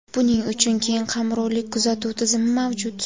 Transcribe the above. Buning uchun keng qamrovli kuzatuv tizimi mavjud.